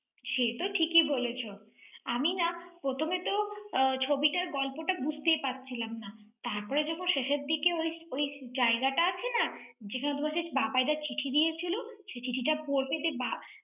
সে তো ঠিকই বলেছ ৷ আমি না প্রথমে তো আহ ছবিটার গল্পটা বুঝতেই পারছিলাম না। তারপর যখন শেষের দিকে ঐ ঐ জায়গাটা আছে না? যেখানে তোমাকে বাবাই দা চিঠি দিয়েছিল, সে চিঠিটা পরতে যে বা~